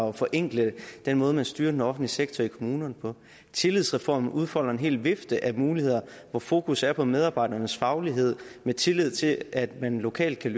og forenkle den måde man styrer den offentlige sektor i kommunerne på i tillidsreformen udfoldes en hel vifte af muligheder hvor fokus er på medarbejdernes faglighed med tillid til at man lokalt kan